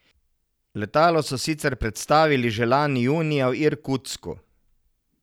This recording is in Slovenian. Letalo so sicer predstavili že lani junija v Irkutsku.